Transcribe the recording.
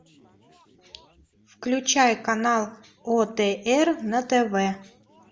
включай канал отр на тв